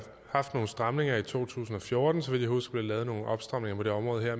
haft nogle stramninger i to tusind og fjorten så vidt jeg husker lavet nogle opstramninger på det område her